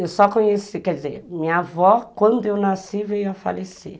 Eu só conheci, quer dizer, minha avó quando eu nasci, veio a falecer.